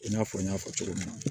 I n'a fɔ n y'a fɔ cogo min na